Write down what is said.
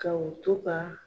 Ka o to ka